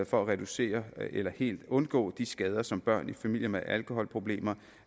for at reducere eller helt undgå de skader som børn i familier med alkoholproblemer